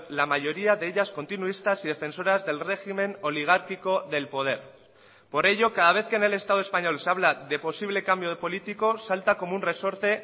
la mayoría de ellas continuistas y defensoras del régimen oligárquico del poder por ello cada vez que en el estado español se habla de posible cambio de políticos salta como un resorte